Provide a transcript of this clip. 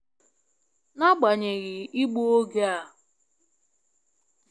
N'agbanyeghị igbu oge a.